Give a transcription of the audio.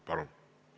Palun!